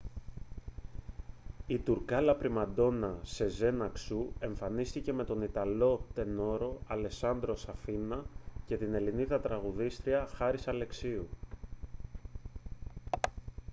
η τουρκάλα πριμαντόνα σεζέν αξού εμφανίστηκε με τον ιταλό τενόρο αλεσάντρο σαφίνα και την ελληνίδα τραγουδίστρια χάρις αλεξίου